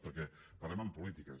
perquè parlem en polítiques